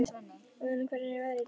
Óðinn, hvernig er veðrið í dag?